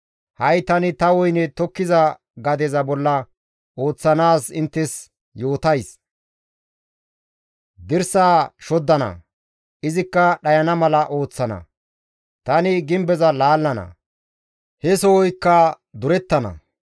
Ha7i tani ta woyne tokkiza gadeza bolla ooththanaaz inttes yootays. Dirsaa shoddana; izikka dhayana mala ooththana; Tani gimbeza laallana; he sohoykka durettana.